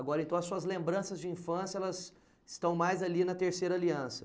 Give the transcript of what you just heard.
Agora, então, as suas lembranças de infância estão mais ali na Terceira Aliança.